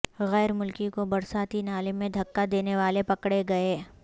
غیر ملکی کو برساتی نالے میں دھکا دینے والے پکڑے گئے